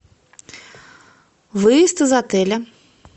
выезд из отеля